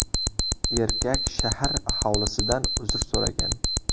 Erkak shahar aholisidan uzr so‘ragan.